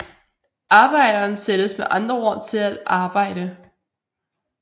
Arbejderen sættes med andre ord til at arbejde